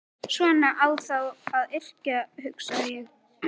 Svona á þá að yrkja, hugsaði ég.